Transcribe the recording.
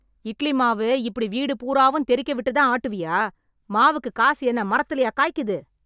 இட்லி மாவு இப்படி வீடு பூராவும் தெரிக்க விட்டு தான் ஆட்டுவியா? மாவுக்கு காசு என்ன மரத்துலையா காய்க்குது